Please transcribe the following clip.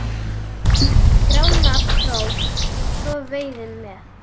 Grána krók svo veiði með.